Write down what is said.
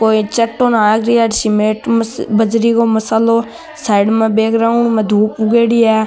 साइड में बैकग्राउंड मा दूब उगेड़ी है।